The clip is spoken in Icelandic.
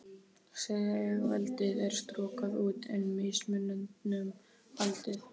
Stigveldið er strokað út, en mismuninum haldið.